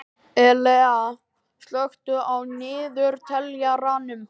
Elea, slökktu á niðurteljaranum.